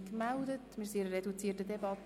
Wir befinden uns in einer reduzierten Debatte.